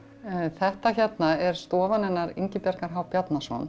þetta hérna er stofan hennar Ingibjargar h Bjarnason